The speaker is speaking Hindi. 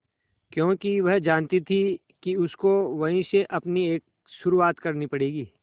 क्योंकि वह जानती थी कि उसको वहीं से अपनी एक शुरुआत करनी पड़ेगी